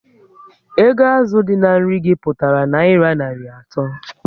Ego azụ dị na nri gi pụtara nayira narị ato